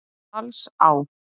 Dalsá